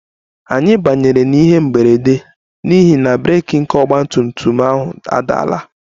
Anyị banyere n'ihe mberede n'ihi na breeki nke ọgba tum tum ahụ adaala